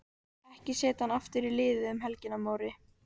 Ekki setja hann aftur í liðið um helgina Móri.